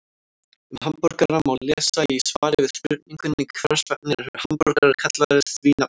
Um hamborgara má lesa í svari við spurningunni Hvers vegna eru hamborgarar kallaðir því nafni?